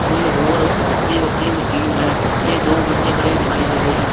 ਕੁਝ ਹੋਰ ਵੱਖਰੀਆਂ ਵੱਖਰੀਆਂ ਮਸ਼ੀਨ ਹੈਂ ਤੇ ਦੋ ਬੰਦੇ ਖੜੇ ਦਿਖਾਈ ਦੇ ਰਹੇ ਹਨ।